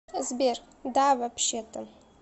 сбер да вообще то